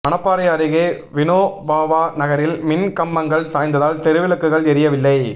மணப்பாறை அருகே வினோபாவா நகரில் மின் கம்பங்கள் சாய்ந்ததால் தெருவிளக்குகள் எரியவில்லை